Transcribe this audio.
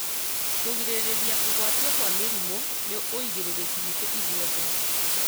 Kũgirĩrĩria kũgwatio kwa mĩrimũ nĩ ũigĩrĩrĩki witũ ithuothe